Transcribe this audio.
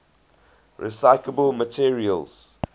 recyclable materials